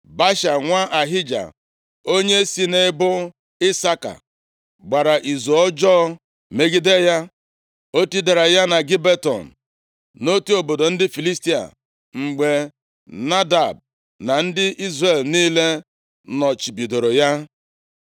Baasha nwa Ahija, onye si nʼebo Isaka gbara izu ọjọọ megide ya. O tidara ya na Gibeton, nʼotu obodo ndị Filistia, mgbe Nadab na ndị Izrel niile nọchibidoro ya.